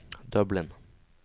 Dublin